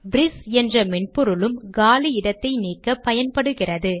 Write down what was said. ¨Briss என்ற மென்பொருளும் காலி இடத்தை நீக்க பயன்படுகிறது